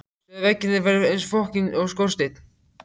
Sögðu að veggirnir væru eins og skorsteinn.